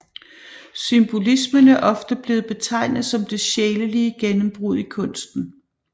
Symbolismen er ofte blevet betegnet som det sjælelige gennembrud i kunsten